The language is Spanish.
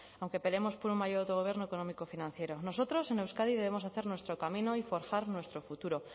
aunque peleemos por un mayor autogobierno económico financiero nosotros en euskadi debemos hacer nuestro camino y forjar nuestro futuro